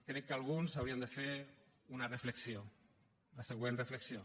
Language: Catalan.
crec que alguns haurien de fer una reflexió la següent reflexió